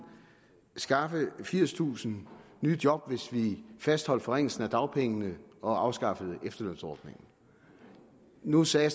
skaffe firstusind nye job hvis vi fastholdt forringelsen af dagpengene og afskaffede efterlønsordningen nu sagde